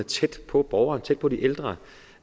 tæt på borgerne tæt på de ældre